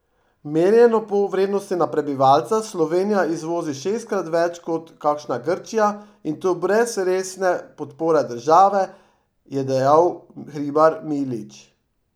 Merjeno po vrednosti na prebivalca Slovenija izvozi šestkrat več kot kakšna Grčija, in to brez resne podpore države, je dejal Hribar Milič.